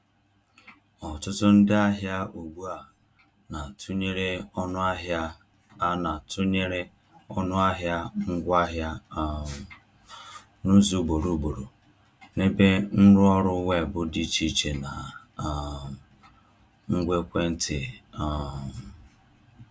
Ọtụtụ ndị ahịa ugbu a na-atụnyere ọnụahịa a na-atụnyere ọnụahịa ngwaahịa um n’ụzọ ugboro ugboro n’ebe nrụọrụ weebụ dị iche iche na um ngwa ekwentị. um